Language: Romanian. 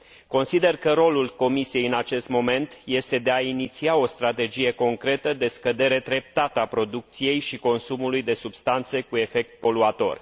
Consider că rolul Comisiei în acest moment este de a iniția o strategie concretă de scădere treptată a producției și consumului de substanțe cu efect poluator.